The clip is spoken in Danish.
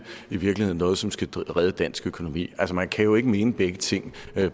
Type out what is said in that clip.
i virkeligheden er noget som skal redde dansk økonomi altså man kan jo ikke mene begge ting